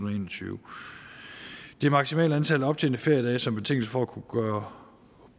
og tyve det maksimale antal optjente feriedage som betingelse for at kunne gøre